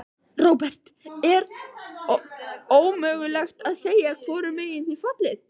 Róbert: Er ómögulegt að segja hvorum megin þið fallið?